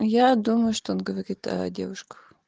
я думаю что он говорит о девушках